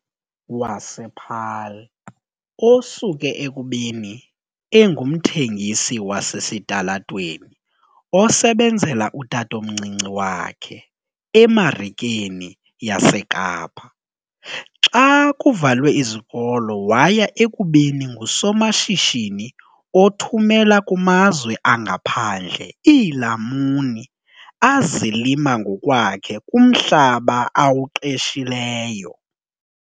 wasePaarl, osuke ekubeni engumthengisi wasesitalatweni osebenzela utatomncinci wakhe eMarikeni yaseKapa xa kuvalwe izikolo waya ekubeni ngusomashishini othumela kumazwe angaphandle iilamuni azilima ngokwakhe kumhlaba awuqeshileyo.